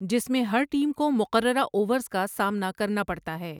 جس میں ہر ٹیم کو مقررہ اوورز کا سامنا کرنا پڑتا ہے۔